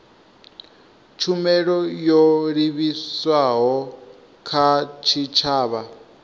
tshumelo yo livhiswaho kha tshitshavha